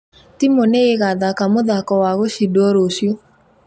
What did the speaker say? Timu nĩ ĩgathaka mũthako wa gũcindwo rũciũ